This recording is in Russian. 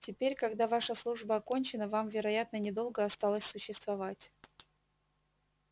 теперь когда ваша служба окончена вам вероятно недолго осталось существовать